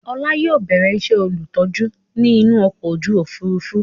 Ọlá yìí ó bẹ̀rẹ̀ ìṣe olùtọ́jú ni inú ọkọ̀ ojú Òfurufú